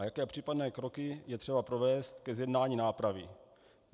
A jaké případné kroky je třeba provést ke zjednání nápravy?